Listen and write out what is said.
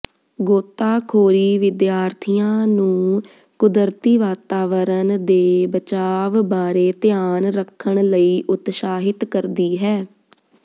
ਗੋਤਾਖੋਰੀ ਵਿਦਿਆਰਥੀਆਂ ਨੂੰ ਕੁਦਰਤੀ ਵਾਤਾਵਰਣ ਦੇ ਬਚਾਵ ਬਾਰੇ ਧਿਆਨ ਰੱਖਣ ਲਈ ਉਤਸ਼ਾਹਿਤ ਕਰਦੀ ਹੈ